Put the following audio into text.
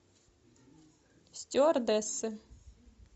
стюардессы